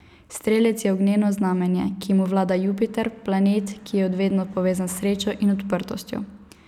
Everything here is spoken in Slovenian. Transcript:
Strelec je ognjeno znamenje, ki mu vlada Jupiter, planet, ki je od vedno povezan s srečo in odprtostjo.